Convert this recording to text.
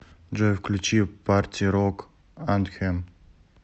джой включи парти рок антхем